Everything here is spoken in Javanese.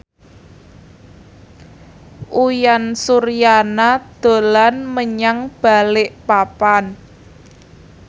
Uyan Suryana dolan menyang Balikpapan